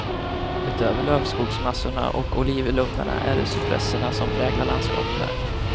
Utöver lövskogsmassorna och olivlundarna är det cypresserna som präglar landskapet här.